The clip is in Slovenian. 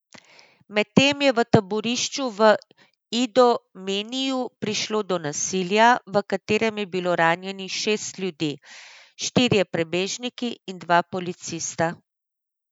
Medtem je v taborišču v Idomeniju prišlo do nasilja, v katerem je bilo ranjenih šest ljudi, štirje prebežniki in dva policista.